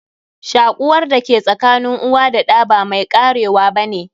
Shakuwar da ke sakanin uwa da ɗa ba mai karewa ba ne.